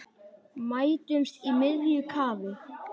Mætumst í miðju kafi.